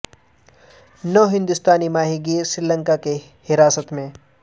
نو ہندوستانی ماہی گیر سری لنکا کی حراست میں